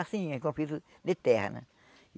Assim, em conflito de terra, né?